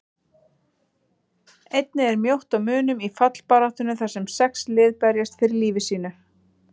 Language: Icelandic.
Einnig er mjótt á munum í fallbaráttunni þar sem sex lið berjast fyrir lífi sínu.